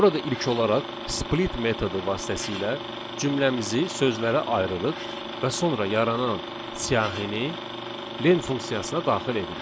Burada ilk olaraq split metodu vasitəsilə cümləmizi sözlərə ayırırıq və sonra yaranan siyahını len funksiyasına daxil edirik.